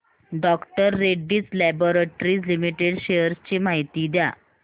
डॉ Reddy's laboratories limited shares ची माहिती द्या